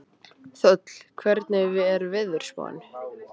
Þöll, hvernig er veðurspáin?